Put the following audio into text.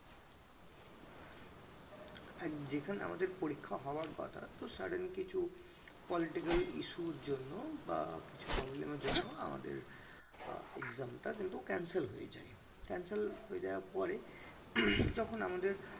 যেখানে আমাদের পরিক্ষা হওয়ার কথা তহ sudden কিছু political issue র জন্য বা কিছু problem এর জন্য আমাদের আহ exam টা কিন্তু cancel হয়ে যায় cancel হয়ে যাওয়ার পরে যখন আমাদের